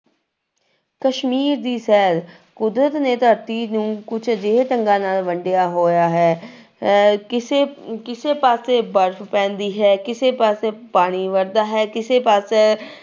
ਕਸ਼ਮੀਰ ਦੀ ਸ਼ੈਰ, ਕੁਦਰਤ ਨੇ ਧਰਤੀ ਨੂੰ ਕੁਛ ਅਜਿਹੇ ਢੰਗਾਂ ਨਾਲ ਵੰਡਿਆ ਹੋਇਆ ਹੈ ਅਹ ਕਿਸੇ ਕਿਸੇ ਪਾਸੇ ਬਰਫ਼ ਪੈਂਦੀ ਹੈ, ਕਿਸੇ ਪਾਸੇ ਪਾਣੀ ਵਰਦਾ ਹੈ, ਕਿਸੇ ਪਾਸੇ